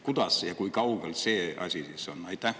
Kui kaugel see asi on?